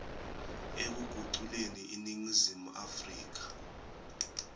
ekuguculeni iningizimu afrika